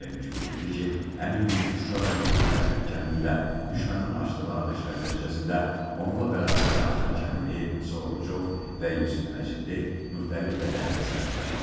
Zərərçəkmiş bildirdi ki, həmin gün Şuşa rayonunun Xəlfəli kəndində düşmənin açdığı atəşlər nəticəsində onunla bərabər Ayxan Kərimli, Musa Orucov və Yusif Məcidli müxtəlif bədən xəsarətləri alıb.